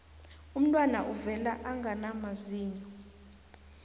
umntwana uvela angana mazinyo